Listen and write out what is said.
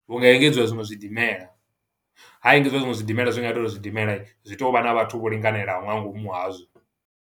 Hunga engedziwa zwiṅwe zwidimela, ha engedziwa zwiṅwe zwidimela, zwi nga ita uri zwidimela, zwi to vha na vhathu vho linganelaho nga ngomu hazwo.